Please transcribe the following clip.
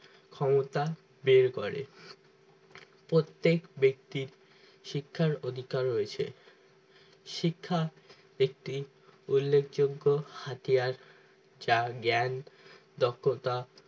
ক্ষমতা বের করে প্রত্যেক ব্যক্তির শিক্ষার অধিকার রয়েছে শিক্ষা একটি উল্লেখযোগ্য হাতিয়ার যা জ্ঞান দক্ষতা